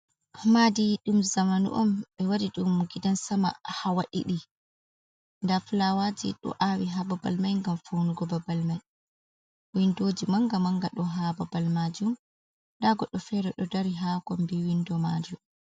Madi ɗum zamanu on mi wadi dum gidan sama hawa ɗiɗi da flawaji do awi ha babal mai ngam fenugo babal mai. Windoji manga manga do ha babal majum. Nda godɗo fere do dari ha kombi windo majum.